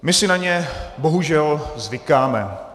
My si na ně bohužel zvykáme.